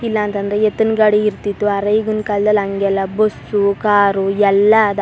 ಇಲ್ಲಾ ಅಂತ ಅಂದ್ರೆ ಎತ್ತಿನ್ ಗಾಡಿ ಇರತ್ತಿತ್ತು ಅರೆ ಈಗಿನ್ ಕಾಲದಲ್ಲಿ ಹಂಗೆಲ್ಲಾ ಬಸ್ಸು ಕಾರು ಎಲ್ಲಾ ಅದ.